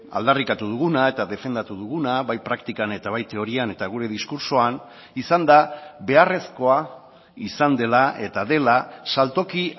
aldarrikatu duguna eta defendatu duguna bai praktikan eta bai teorian eta gure diskurtsoan izan da beharrezkoa izan dela eta dela saltoki